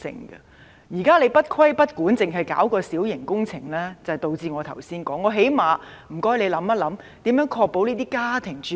現時當局不規不管，只是從規管小型工程着手，因此會導致我剛才所提及的問題。